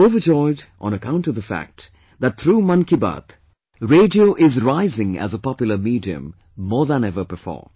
I am overjoyed on account of the fact that through 'Mann Ki Baat', radio is rising as a popular medium, more than ever before